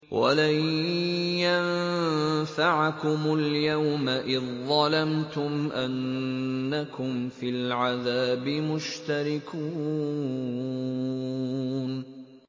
وَلَن يَنفَعَكُمُ الْيَوْمَ إِذ ظَّلَمْتُمْ أَنَّكُمْ فِي الْعَذَابِ مُشْتَرِكُونَ